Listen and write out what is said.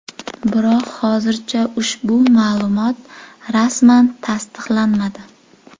Biroq hozircha ushbu ma’lumot rasman tasdiqlanmadi.